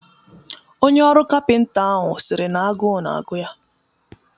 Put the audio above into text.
Onye ọrụ kapịnta ahụ sịrị na agụụ na-agụ ya